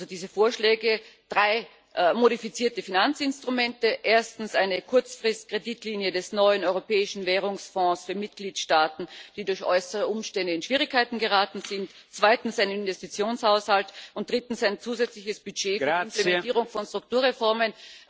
Diese Vorschläge sind drei modifizierte Finanzinstrumente erstens eine Kurzfristkreditlinie des neuen Europäischen Währungsfonds für Mitgliedstaaten, die durch äußere Umstände in Schwierigkeiten geraten sind, zweitens ein Investitionshaushalt und drittens ein zusätzliches Budget zur Implementierung von Strukturreformen.